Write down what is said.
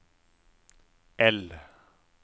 L